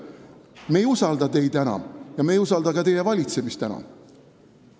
Me ei usalda teid enam ja me ei usalda ka teie valitsemist enam.